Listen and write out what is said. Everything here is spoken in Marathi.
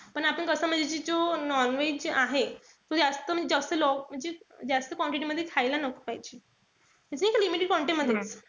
पण आता कस म्हणजे जो non-veg आहे. म्हणजे जास्त quantity मध्ये खायला नको पाहिजे. म्हणजे एका limited quantity मधेच.